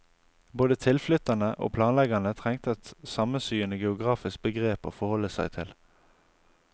Både tilflytterne og planleggerne trengte et sammensyende geografisk begrep å forholde seg til.